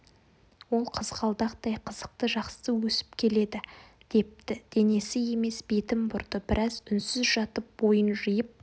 ол қызғалдақтай қызықты жақсы өсіп келеді депті денесі емес бетін бұрды біраз үнсіз жатып бойын жиып